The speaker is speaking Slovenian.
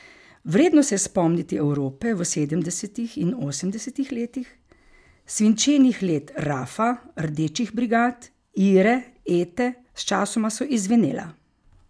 Vredno se je spomniti Evrope v sedemdesetih in osemdesetih letih, svinčenih let Rafa, Rdečih brigad, Ire, Ete, sčasoma so izzvenela.